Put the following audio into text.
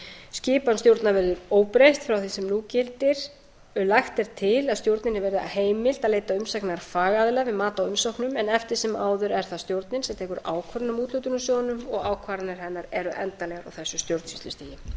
skipan stjórnar verði óbreytt frá því sem nú gildir lagt er til að stjórninni verði heimilt að leita umsagnar fagaðila um mat á umsóknum en eftir sem áður er það stjórnin sem tekur ákvörðun um úthlutun úr sjóðnum og ákvarðanir hennar eru endanlegar á þessu stjórnsýslustigi ég vonast